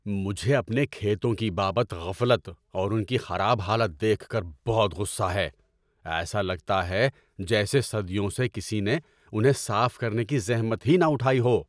مجھے اپنے کھیتوں کی بابت غفلت اور ان کی خراب حالت دیکھ کر بہت غصہ ہے۔ ایسا لگتا ہے جیسے صدیوں سے کسی نے انہیں صاف کرنے کی زحمت ہی نہ اٹھائی ہو۔